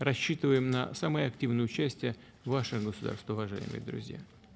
рассчитываем на самое активное участие ваше государства уважаемые друзья